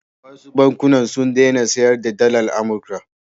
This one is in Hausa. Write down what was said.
Wasu bankuna sun daina sayar da dalar Amurka.